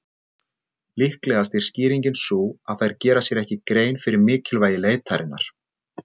Líklegast er skýringin sú að þær gera sér ekki grein fyrir mikilvægi leitarinnar.